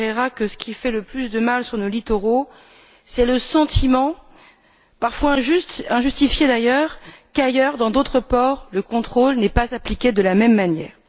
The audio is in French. Ferreira que ce qui fait le plus de mal sur nos littoraux, c'est le sentiment, parfois injustifié d'ailleurs, que dans d'autres ports, le contrôle n'est pas appliqué de la même manière.